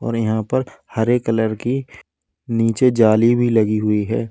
और यहां पर हेरे कलर की नीचे जाली भी लगी हुई है।